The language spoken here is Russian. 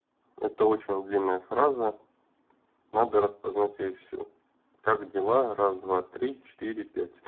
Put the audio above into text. это очень длинная фраза надо распознать её всю как дела раз два три четыре пять